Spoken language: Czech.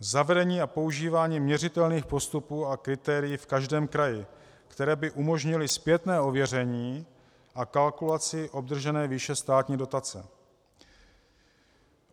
Zavedení a používání měřitelných postupů a kritérií v každém kraji, které by umožnily zpětné ověření a kalkulaci obdržené výše státní dotace.